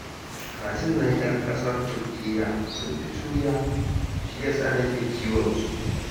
Kajin nan 'yan ƙasar Turkiyya sun fi juriya, shi ya sa nake kiwonsu